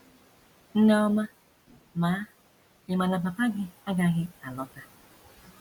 Nne ọma, ma, ị̀ ma na papa gị agaghị alọta? ”